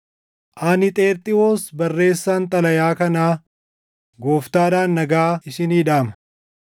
Ani Xerxiwoos barreessaan xalayaa kanaa Gooftaadhaan nagaa isinii dhaama.